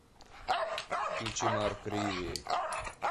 включи марк риви